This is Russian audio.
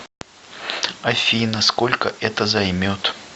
афина сколько это займет